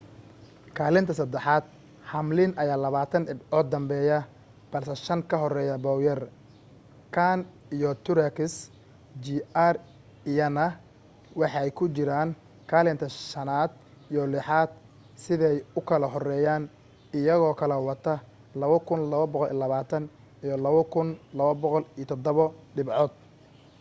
kaalinta saddexaad hamlin ayaa labaatan dhibcood danbeeya balse shan ka horeeya bowyer kahne iyo truex jr iyana waxay ku jiraan kaalinta shanaad iyo lixaad siday u kala horeeyaan iyagoo kala wata 2,220 iyo 2,207 dhibcood